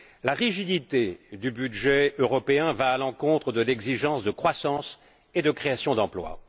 La rigidité du budget européen va à l'encontre de l'exigence de croissance et de création d'emplois.